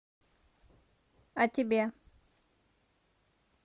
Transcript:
а тебе